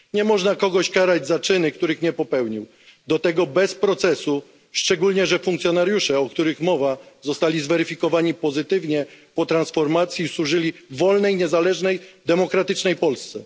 Nie można kogoś karać za czyny, których nie popełnił, do tego bez procesu, szczególnie że funkcjonariusze, o których mowa, zostali zweryfikowani pozytywnie i po transformacji służyli w wolnej, niezależnej, demokratycznej Polsce.